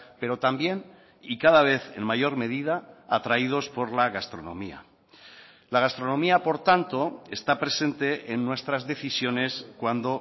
pero también y cada vez en mayor medida atraídos por la gastronomía la gastronomía por tanto está presente en nuestras decisiones cuando